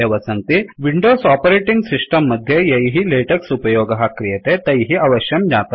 Windows operating system मध्ये यैः LaTeX उपयोगःक्रियते तैः अवश्यं ज्ञातव्यमिदम्